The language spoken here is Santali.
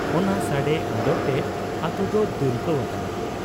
ᱚᱱᱟ ᱥᱟᱰᱮ ᱟᱸᱫᱚᱲᱛᱮ ᱟᱹᱛᱩᱫᱚ ᱫᱩᱞᱠᱟᱹᱣ ᱟᱠᱟᱱᱟ ᱾